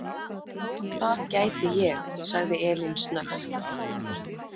Það gæti ég, sagði Elín snöggt.